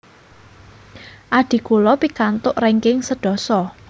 Adhi kulo pikantuk ranking sedasa